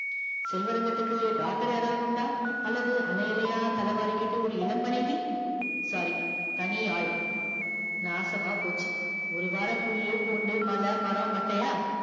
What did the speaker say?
செல்வரங்கத்துக்கு daughter யாரவது உண்டா அல்லது அல அலையா தல வாரிக்கிட்டு ஒரு இளம் மனைவ sorry தனி ஆள் நாசமா போச்சி ஒரு வாரம் புல்லு பூண்டு மல மரம் மட்டையா